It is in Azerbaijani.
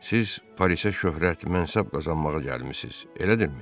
Siz Parisə şöhrət, mənsəb qazanmağa gəlmisiz, elədirmi?